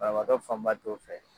Banabaatɔ fanba t'o fɛ.